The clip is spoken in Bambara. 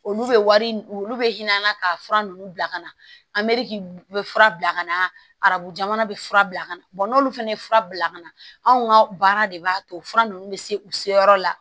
Olu bɛ wari olu bɛ hin'an na ka fura ninnu bila ka na a mɛriki bɛ fura bila ka na arabu jamana bɛ fura bila ka na n'olu fana ye fura bila ka na anw ka baara de b'a to fura ninnu bɛ se u se yɔrɔ la